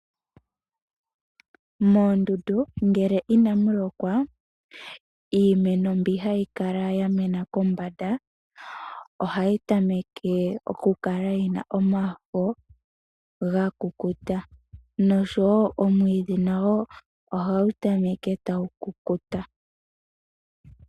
Moondundu ngele ina mulokwa iimeno mbyoka hayi kala yamena kombanda, ohayi tameke okukala yina omafo gakukuta nosho wo omwidhi nago ohagu tameke tagu kukuta.